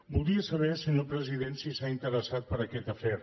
voldria saber senyor president si s’ha interessat per aquest afer